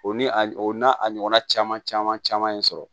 O ni a o n'a a ɲɔgɔnna caman caman sɔrɔ